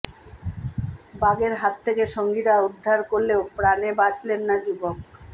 বাঘের হাত থেকে সঙ্গীরা উদ্ধার করলেও প্রাণে বাঁচলেন না যুবক